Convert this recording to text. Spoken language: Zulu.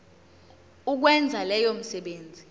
ukwenza leyo misebenzi